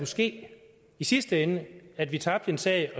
ske i sidste ende at vi tabte en sag